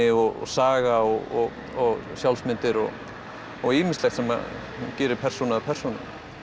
og saga og og sjálfsmyndir og og ýmislegt sem að gerir persónu að persónu